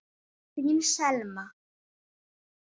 Þín Selma.